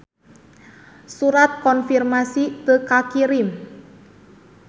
Surat konfirmasi teu kakirim.